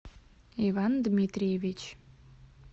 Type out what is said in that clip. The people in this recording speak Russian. иван дмитриевич